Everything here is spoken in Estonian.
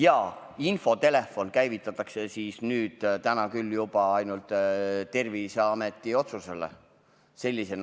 Aga infotelefon käivitatakse küll juba ainult Terviseameti otsusel.